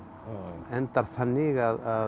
endar þannig að